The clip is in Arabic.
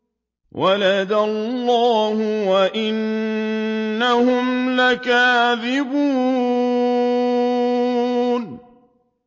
وَلَدَ اللَّهُ وَإِنَّهُمْ لَكَاذِبُونَ